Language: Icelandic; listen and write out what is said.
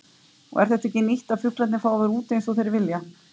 Og er þetta ekki nýtt að fuglarnir fá að vera úti eins og þeir vilja?